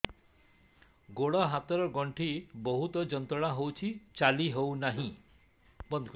ଗୋଡ଼ ହାତ ର ଗଣ୍ଠି ବହୁତ ଯନ୍ତ୍ରଣା ହଉଛି ଚାଲି ହଉନାହିଁ